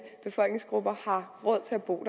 befolkningsgrupper har råd til at bo